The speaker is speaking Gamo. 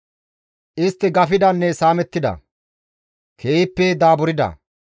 Istti gafidanne saamettida; keehippe daaburda.